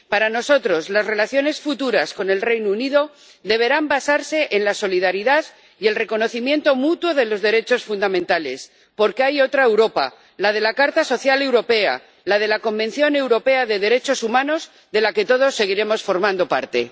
Para nosotros, las relaciones futuras con el Reino Unido deberán basarse en la solidaridad y el reconocimiento mutuo de los derechos fundamentales, porque hay otra Europa, la de la Carta Social Europea, la del Convenio Europeo de Derechos Humanos, de la que todos seguiremos formando parte.